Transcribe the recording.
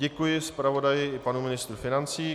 Děkuji zpravodaji i panu ministru financí.